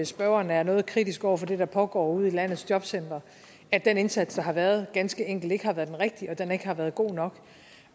spørgeren er noget kritisk over for det der pågår ude i landets jobcentre at den indsats der har været ganske enkelt ikke har været den rigtige at den ikke har været god nok